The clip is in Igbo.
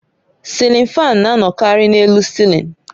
Silin fáan na-anọkarị n'elu cilin